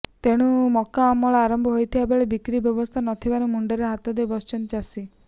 ତେଣୁ ମକା ଅମଳ ଆରମ୍ଭ ହୋଇଥିବା ବେଳେ ବିକ୍ରି ବ୍ୟବସ୍ଥା ନ ଥିବାରୁ ମୁଣ୍ଡରେ ହାତଦେଇ ବସିଛନ୍ତି ଚାଷୀ